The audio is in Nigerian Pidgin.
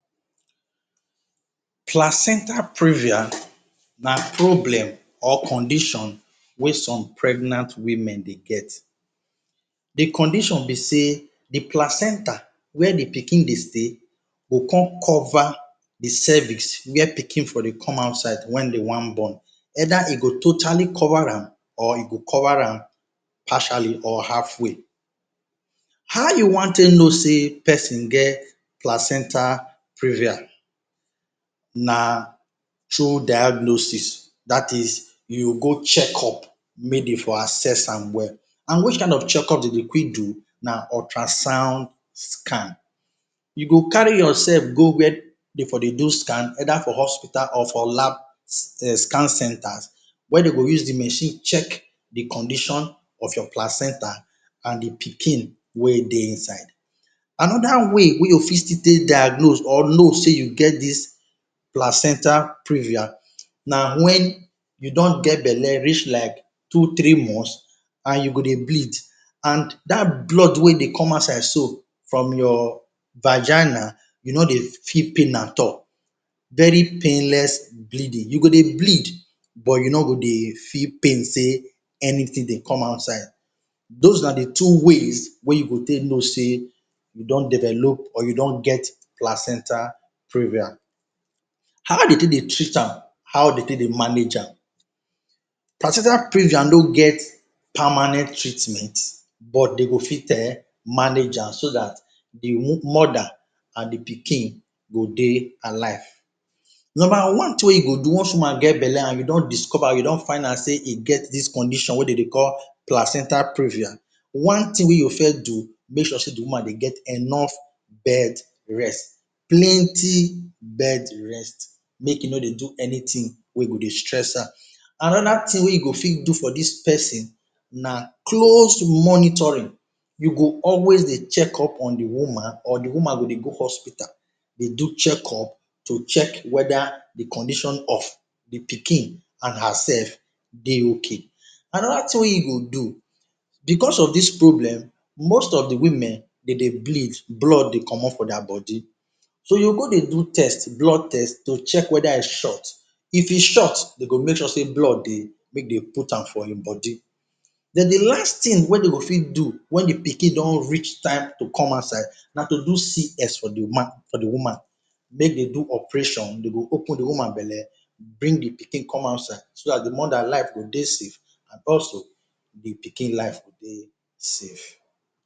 Placenta previa na problem or condition wey some pregnant women dey get. The condition be sey the placenta, where the pikin dey stay, go con cover the cervix where pikin for dey come outside wen dey wan born, Either e go totally cover am or e go cover am partially or halfway. How you wan take know sey peson get placenta previa? Na through diagnosis. That is, you go check up make de for assess am well. An which kain of checkup de dey quick do na ultrasound scan. You go carry yoursef go where de for dey do scan either for hospital or for lab um scan centres where de go use the machine check the condition of your placenta an the pikin wey dey inside. Another way wey you still fit take diagnose or know sey you get dis placenta previa na wen you don get belle reach like two three months an you go dey bleed an dat blood wey dey come outside so from your vagina, you no dey feel pain at all—very painless bleeding. You go dey bleed but you no go dey feel pain sey anything dey come outside. Dos na the two ways wey you go take know sey you don develop or you don get placenta previa. How de take dey treat am? How de take dey manage am? Placenta previa no get permanent treatment, but de go fit um manage am so dat the mother an the pikin go dey alive. Nomba one tin wey you go do once woman get belle an you don discover, you don find out sey e get dis condition wey de dey call placenta previa, one tin wey you first do, make sure sey the woman dey get enough bed rest. Plenty bed rest. Make e no dey do anything wey go dey stress her. Another tin wey you go fit do for dis peson na close monitoring. You go always dey check up on the woman or the woman go dey go hospital dey do check up to check whether the condition of the pikin an hersef dey okay. Another tin wey you go do, becos of dis problem, most of the women, de dey bleed, blood dey comot for dia body. So you go dey do test, blood test, to check whether e short. If e short, de go make sure sey blood dey make de put am for im body Then the last tin wey de go fit do wen the pikin don reach time to come outside na to do CS for the woman for the woman Make dey do operation. Dey go open the woman belle, bring the pikin come outside so dat the mother life go dey safe an also the pikin life go dey safe.